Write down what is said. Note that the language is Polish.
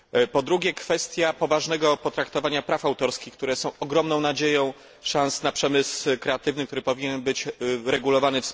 Po drugie, kwestia poważnego potraktowania praw autorskich, które są ogromną nadzieją i szansą na rozwój rynku kreatywnego, który powinien być wspólnie uregulowany.